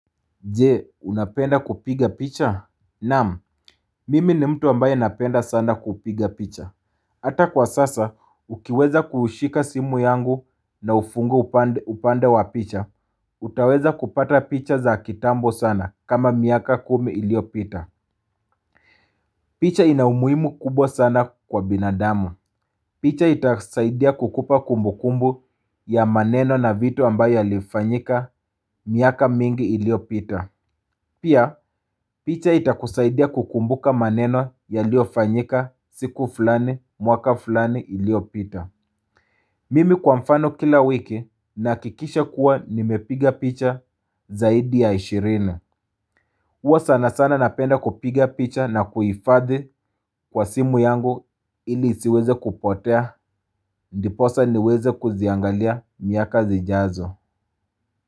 Je, unapenda kupiga picha? Naam, mimi ni mtu ambaye napenda sana kupiga picha. Hata kwa sasa, ukiweza kushika simu yangu na ufungue upanda wa picha, utaweza kupata picha za kitambo sana kama miaka kumi iliopita. Picha ina umuimu kubwa sana kwa binadamu. Picha itasaidia kukupa kumbu kumbu ya maneno na vitu ambaye alifanyika miaka mingi iliopita. Pia, picha itakusaidia kukumbuka maneno yaliyofanyika siku fulani, mwaka fulani iliopita. Mimi kwa mfano kila wiki nahakikisha kuwa nimepiga picha zaidi ya ishirini. Uwa sana sana napenda kupiga picha na kuhifadhi kwa simu yangu ili isiweze kupotea, ndiposa niweze kuziangalia miaka zijazo.